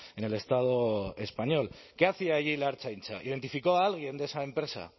en el estado español qué hacia allí la ertzaintza identificó a alguien de esa empresa